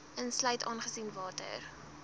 insluit aangesien water